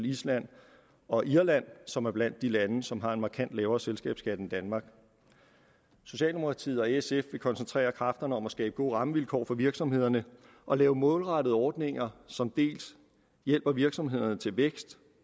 island og irland som er blandt de lande som har en markant lavere selskabsskat end danmark socialdemokratiet og sf vil koncentrere kræfterne om at skabe gode rammevilkår for virksomhederne og lave målrettede ordninger som hjælper virksomhederne til vækst